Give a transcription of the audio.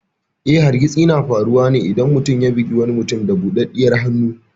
Eh, hargitsi na faruwa ne idan mutum ya bugi wani mutum da budaddiyar hannu.